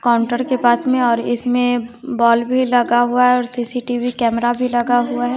Counter के पास में और इसमें बल्ब भी लगा हुआ है और सी_सी_टी_वी कैमरा भी लगा हुआ है।